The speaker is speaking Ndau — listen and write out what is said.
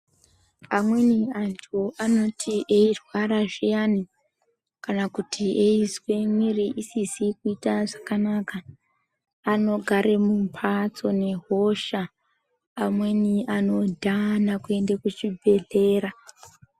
Amweni antu anoti eyirwara zviyani kana kuti eizwa mwiri isizi kuiita zvakanaka anogare mumbatso nehosha. Amweni anodhana kuenda kuchibhehlera.